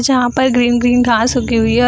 जहाँ पर green - green घास उगी हुई है |